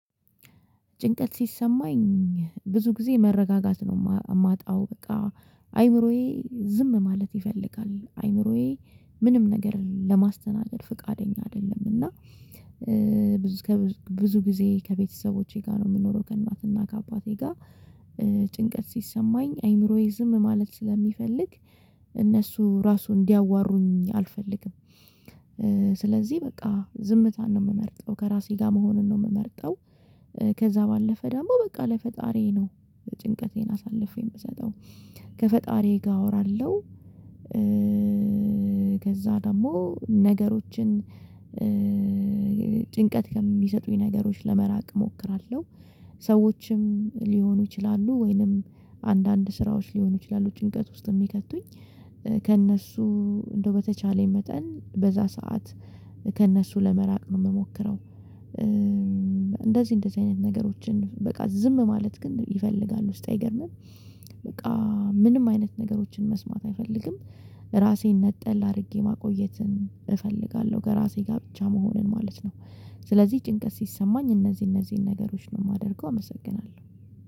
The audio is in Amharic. ጭንቀት ሲሰማኝ ብዙ ጊዜ መረጋጋት ነው እማጣው በቃ አይምሮዬ ዝም ማለት ይፈልጋል አእምሮዬ ምንም ነገር ለማስተናደድ ፍቃደኛ አይደለም። እና ብዙ ከብዙ ብዙ ጊዜ ከቤተሰቦቼ ጋር ነው የምኖረው ከእናትና ከአባቴ ጋር። ጭንቀት ሲሰማኝ አይምሮዬ ዝም ማለት ስለሚፈልግ እነሱ ራሱ እንዲያዋሩኝ አልፈልግም። ስለዚህ በቃ ዝምታን ነው የምመርጠው ከራሴ ጋር መሆንን ነው የምመርጠው። ከዛ ባለፈ ደግሞ በቃ ለፈጣሪዬ ነው ጭንቀቴን አሳልፌ የምሰጠው ከፈጣሪዬ ጋር አወራለሁ። ከዛ ደግሞ ነገሮችን ጭንቀት ከሚሰጡኝ ነገሮች ለመራቅ እሞክራለሁ። ሰዎችም ሊሆኑ ይችላሉ ወይንም አንዳንድ ስራዎች ሊሆኑ ይችላሉ ጭንቀት ውስጥ የሚከቱኝ ከእነሱ እንደው በተቻለኝ መጠን በዛ ሰዓት ከእነሱ ለመራቅ ነው የምሞክረው። እንደዚህ እንደዚህ አይነት ነገሮችን በቃ ዝም ማለት ግን ይፈልጋል ውስጤ አይገርምም። በቃ ምንም አይነት ነገሮችን መስማት አይፈልግም። ራሴን ነጠል አድርጌ ማቆየትን እፈልጋለሁ ከራሴ ጋር ብቻ መሆንን ማለት ነው። ስለዚህ ጭንቀት ሲሰማኝ እነዚህ እነዚህን ነገሮች ነው የማደርገው። አመሰግናለሁ